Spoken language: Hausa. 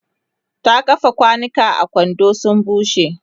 ta kifa kwanukan a kwando su bushe